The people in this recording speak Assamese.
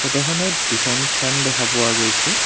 ফটোখনত দুখন ফেন দেখা পোৱা গৈছে।